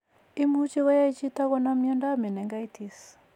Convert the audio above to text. Imuche koyai chito konam miondap meningitis.